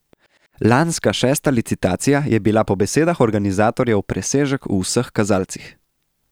Lanska šesta licitacija je bila po besedah organizatorjev presežek v vseh kazalcih.